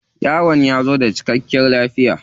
Yaron ya zo da cikkakiyar lafiya.